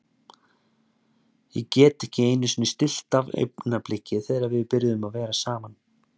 Ég get ekki einusinni stillt af augnablikið þegar við byrjuðum að vera saman.